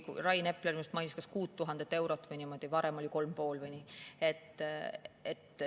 Rain Epler vist mainis kas 6000 eurot või midagi niimoodi, varem oli 3500 või nii.